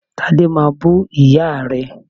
Tade máa bú ìyá rẹ̀